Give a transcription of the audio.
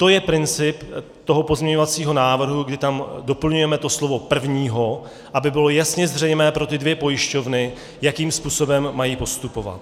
To je princip toho pozměňovacího návrhu, kdy tam doplňujeme to slovo prvního, aby bylo jasně zřejmé pro ty dvě pojišťovny, jakým způsobem mají postupovat.